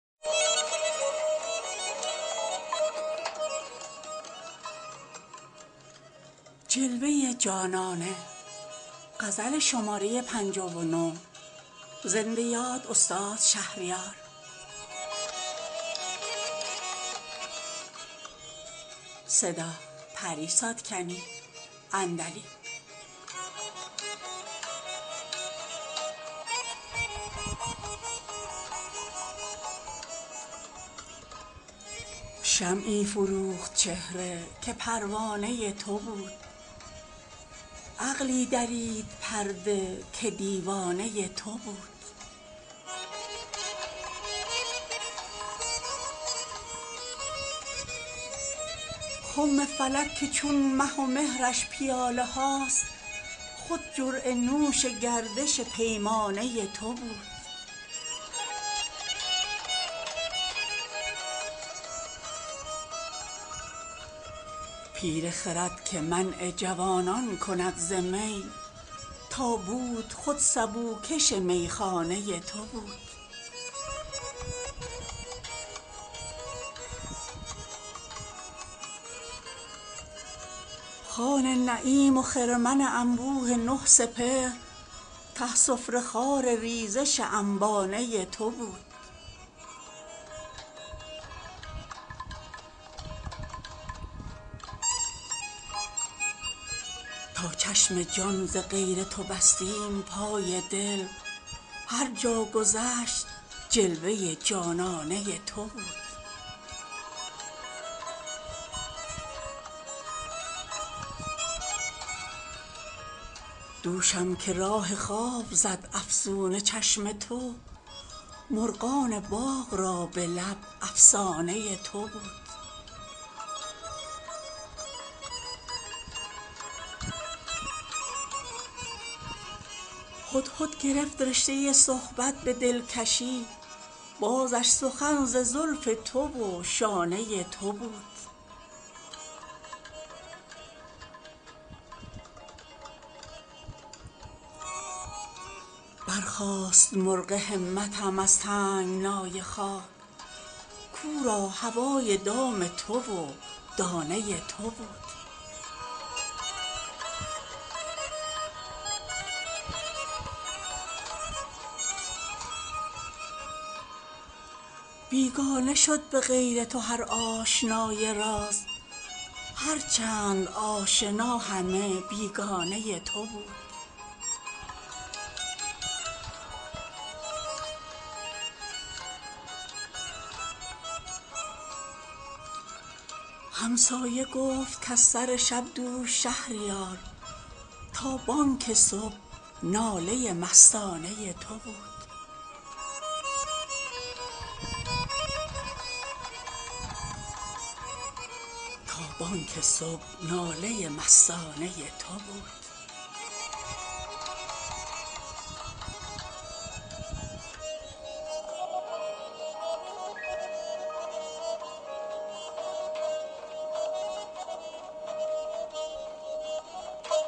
شمعی فروخت چهره که پروانه تو بود عقلی درید پرده که دیوانه تو بود خم فلک که چون مه و مهرش پیاله هاست خود جرعه نوش گردش پیمانه تو بود پیر خرد که منع جوانان کند ز می تا بود خود سبو کش میخانه تو بود خوان نعیم و خرمن انبوه نه سپهر ته سفره خوار ریزش انبانه تو بود تا چشم جان ز غیر تو بستیم پای دل هر جا گذشت جلوه جانانه تو بود دوشم که راه خواب زد افسون چشم تو مرغان باغ را به لب افسانه تو بود هدهد گرفت رشته صحبت به دلکشی بازش سخن ز زلف تو و شانه تو بود برخاست مرغ همتم از تنگنای خاک کو را هوای دام تو و دانه تو بود بیگانه شد به غیر تو هر آشنای راز هر چند آشنا همه بیگانه تو بود همسایه گفت کز سر شب دوش شهریار تا بانگ صبح ناله مستانه تو بود